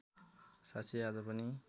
साक्षी आज पनि